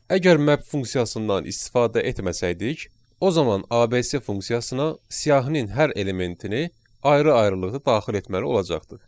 Əgər map funksiyasından istifadə etməsəydik, o zaman ABC funksiyasına siyahının hər elementini ayrı-ayrılıqda daxil etməli olacaqdıq.